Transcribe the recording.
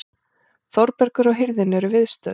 Þórbergur og hirðin eru viðstödd.